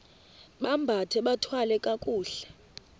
bambathe bathwale kakuhle